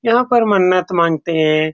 यहाँ पर मन्नत मांगते हैं ।